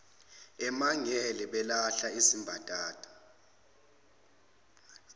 emangele balahla izimbadada